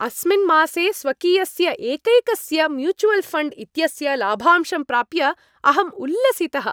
अस्मिन् मासे स्वकीयस्य एकैकस्य म्यूचुवल् फण्ड् इत्यस्य लाभांशं प्राप्य अहम् उल्लसितः।